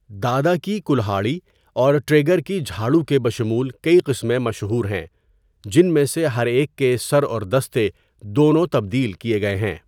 دادا کی کلہاڑی اور ٹریگر کی جھاڑو کے بشمول کئی قسمیں مشہور ہیں، جن میں سے ہر ایک کے سر اور دستے دونوں تبدیل کیے گئے ہیں۔